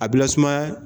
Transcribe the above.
A bɛ lasumaya